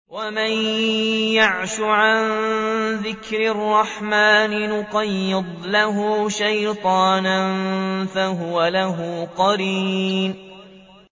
وَمَن يَعْشُ عَن ذِكْرِ الرَّحْمَٰنِ نُقَيِّضْ لَهُ شَيْطَانًا فَهُوَ لَهُ قَرِينٌ